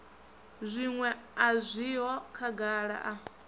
zwiṅwe a zwiho khagala a